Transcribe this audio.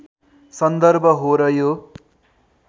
सन्दर्भ हो र यो